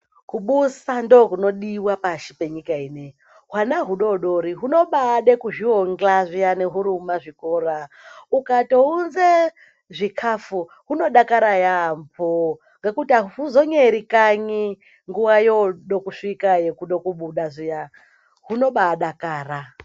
Kubusa ndokunodiwa pashi munyika ineyi hwana hudodori hunobaada kuzvionga huri mumazvikora ukatounze zvikafu hunodakara yaambo nekuti ahuzonyeri kanyi nguwa yoode kusvika yekuda kubuda zviya hunobaadakara.